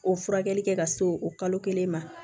O furakɛli kɛ ka se o kalo kelen ma